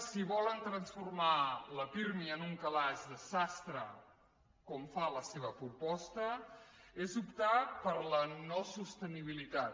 si volen transformar el pirmi en un calaix de sastre com fa la seva proposta és optar per la no sostenibilitat